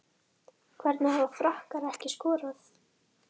Hvernig hafa Frakkar ekki skorað?